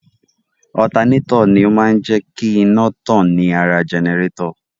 Otaneto ni ó máa ń jé kí iná tàn ní ara jẹnẹrétọ̀.